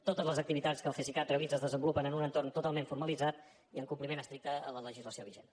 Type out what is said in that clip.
totes les activitats que el cesicat realitza es desenvolupen en un entorn totalment formalitzat i en compliment estricte de la legislació vigent